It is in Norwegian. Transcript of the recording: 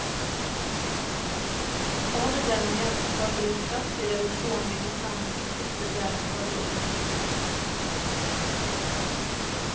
Overdreven jakt førte til kraftig reduksjon i bestanden i siste del av forrige århundre.